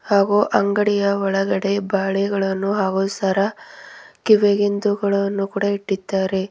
ಹಾಗೂ ಅಂಗಡಿಯ ಒಳಗಡೆ ಬಳೆಗಳನ್ನು ಹಾಗೂ ಸರ ಕಿವಿಗಿಂದುಗಳನ್ನು ಕೂಡ ಇಟ್ಟಿದ್ದಾರೆ.